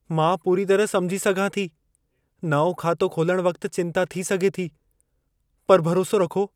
मां पूरी तरह समुझी सघां थी। नओं खातो खोलण वक़्त चिंता थी सघे थी, पर भरोसो रखो।